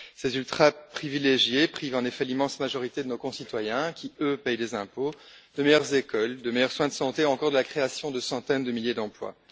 En effet, ces ultraprivilégiés privent l'immense majorité de nos concitoyens qui, eux, paient des impôts, de meilleures écoles, de meilleurs soins de santé ou encore de la création de centaines de milliers d'emplois.